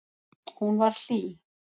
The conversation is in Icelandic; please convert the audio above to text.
Hún var hlý.